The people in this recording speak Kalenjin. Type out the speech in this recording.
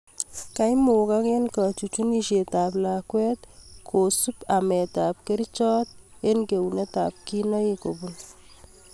Koimugak eng� kachuchunisiet ab lakwet kosum ameet ab kerchoot and geunet ab kinaik kobun